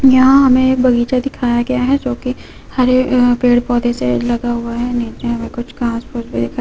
यहाँ हमें बगीचा दिखाया गया है जो कि हरे उम पेड़ पौधे से लगा हुआ है। नीचे हमें कुछ खास कुछ भि दिखाइ--